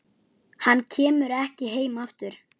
Hann kemur ekki heim aftur.